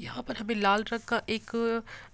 यहाँ पर हमे लाल रंग का एक